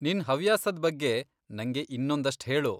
ನಿನ್ ಹವ್ಯಾಸದ್ ಬಗ್ಗೆ ನಂಗೆ ಇನ್ನೊಂದಷ್ಟ್ ಹೇಳು.